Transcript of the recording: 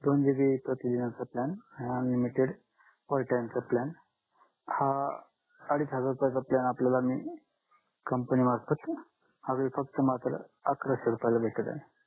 दोन GB प्रती दिनाचा प्लॅन अनलिमिटेड पर चा प्लॅन हा अडीच हजार रुपया चा प्लॅन आपल्याला मी कंपनी मार्फत अकरक्षे रुपयाला भेटत आहे